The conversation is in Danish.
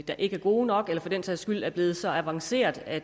der ikke er gode nok eller for den sags skyld er blevet så avancerede at